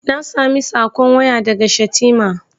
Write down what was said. Na sami saƙon waya daga Shatima.